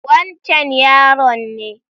Wancen yaron ne.